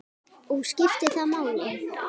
Og skiptir það máli?